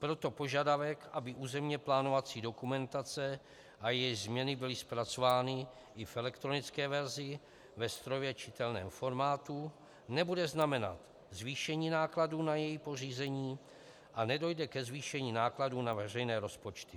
Proto požadavek, aby územně plánovací dokumentace a její změny byly zpracovány i v elektronické verzi ve strojově čitelném formátu, nebude znamenat zvýšení nákladů na její pořízení a nedojde ke zvýšení nákladů na veřejné rozpočty.